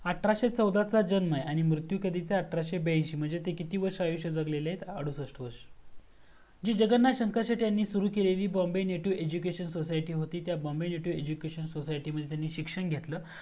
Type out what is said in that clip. आठराशे चौदा चा जन्म आहे आणि मृतू कधीचा आहे आठराशे ब्याइएंशी म्हणजे ते किती वर्ष आयुष्य जगलेले आहेतं अडूसस्ट वर्ष जी जगन्नाथ यांनी सुरू केलेली bombay native education society होती त्या bombay native education society मध्ये त्यांनी शिक्षण घेतल